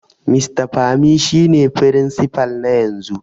Mr Pami shine Firinsifal na yanzu.